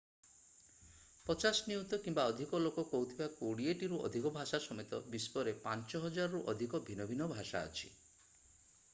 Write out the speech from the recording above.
50 ନିୟୁତ କିମ୍ବା ଅଧିକ ଲୋକ କହୁଥିବା କୋଡ଼ିଏଟିରୁ ଅଧିକ ଭାଷା ସମେତ ବିଶ୍ୱରେ 5000ରୁ ଅଧିକ ଭିନ୍ନ ଭିନ୍ନ ଭାଷା ଅଛି